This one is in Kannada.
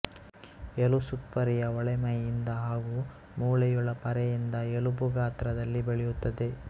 ಎಲುಸುತ್ಪರೆಯ ಒಳ ಮೈಯಿಂದ ಹಾಗೂ ಮೂಳೆಯೊಳ ಪರೆಯಿಂದ ಎಲುಬು ಗಾತ್ರದಲ್ಲಿ ಬೆಳೆಯುತ್ತದೆ